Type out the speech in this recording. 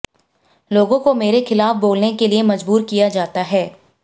लोगों को मेरे खिलाफ बोलने के लिए मजबूर किया जाता है